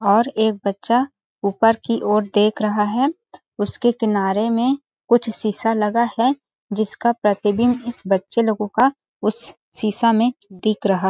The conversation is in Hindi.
और एक बच्चा ऊपर की ओर देख रहा है उसके किनारे में कुछ शीशा लगा है जिसका प्रतिबिम्ब इस बच्चे लोगो का उस शीशा में दिख रहा--